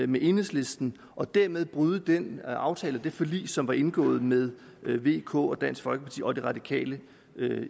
med enhedslisten og dermed bryde den aftale og det forlig som blev indgået med vk dansk folkeparti og de radikale